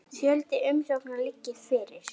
Fjöldi umsókna liggi fyrir.